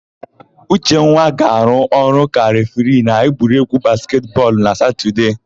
Uchenwa ga-arụ ọrụ ka refiri n'egwuregwu basketị bọọlụ na Satọdee.